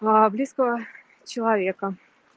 а близкого человека